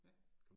Ja